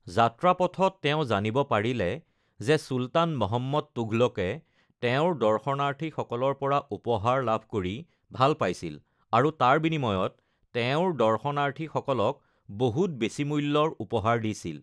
যাত্ৰাপথত তেওঁ জানিব পাৰিলে যে চুলতান মহম্মদ তুঘলকে তেওঁৰ দৰ্শনাৰ্থীসকলৰ পৰা উপহাৰ লাভ কৰি ভাল পাইছিল, আৰু তাৰ বিনিময়ত তেওঁৰ দৰ্শনাৰ্থীসকলক বহুত বেছি মূল্যৰ উপহাৰ দিছিল।